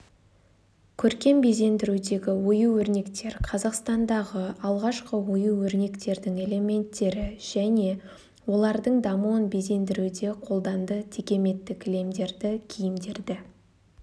көркем безендірудегі ою-өрнектер қазақстандағы алғашқы ою-өрнектердің элементтері және олардың дамуын безендіруде қолданды текеметті кілемдерді киімдерді